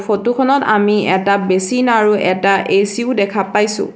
Photo খনত আমি এটা বেছিন আৰু এটা এ_চি ও দেখা পাইছোঁ।